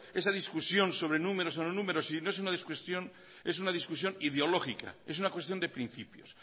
esa discusión sobre números o no números sino es una discusión ideológica es una cuestión de principios